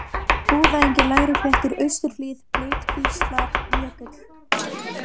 Búðaengi, Lægri-Flettur, Austurhlíð, Blautkvíslarjökull